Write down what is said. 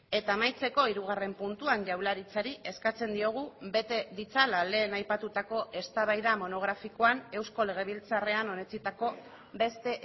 eta amaitzeko hirugarren puntuan jaurlaritzari eskatzen diogu bete ditzala lehen aipatutako eztabaida monografikoan eusko legebiltzarrean onetsitako beste